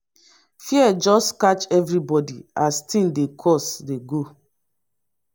fear just catch everybodi as tins dey cost dey go.